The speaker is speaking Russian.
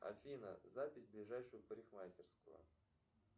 афина запись в ближайшую парикмахерскую